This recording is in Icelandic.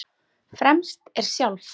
Fremst er sjálf